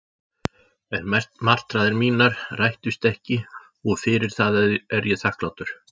En martraðir mínar rættust ekki og fyrir það er ég þakklátur.